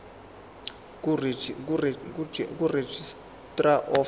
kuregistrar of animals